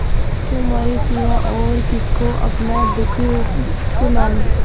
तुम्हारे सिवा और किसको अपना दुःख सुनाऊँ